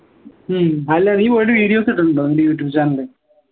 ഹും അല്ല നീ പോയിട്ട് videos ഇട്ടിട്ടുണ്ടോ നിന്റെ youtube channel